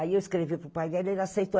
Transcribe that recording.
Aí eu escrevi para o pai dele, ele aceitou.